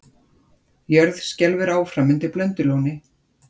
Jörð skelfur áfram undir Blöndulóni